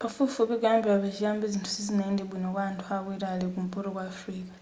pafupifupi kuyambira pa chiyambi zinthu sizinayende bwino kwa anthu aku italy ku mpoto kwa africa